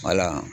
Wala